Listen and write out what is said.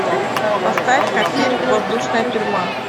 поставь ка фильм воздушная тюрьма